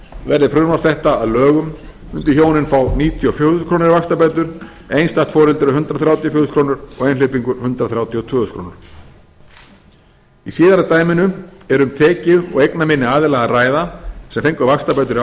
verði frumvarp þetta að lögum mundu hjónin fá níutíu og fjögur þúsund krónur í vaxtabætur einstætt foreldri hundrað þrjátíu og fjögur þúsund krónur og einhleypingur hundrað þrjátíu og tvö þúsund krónur í síðara dæminu er um tekju og eignaminni aðila að ræða sem fengu vaxtabætur í